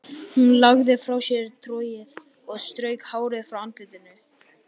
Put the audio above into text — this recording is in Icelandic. Hún lagði frá sér trogið og strauk hárið frá andlitinu.